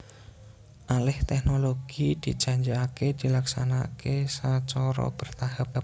Alih teknologi dijanjikaké dilaksanaké sacara bertahap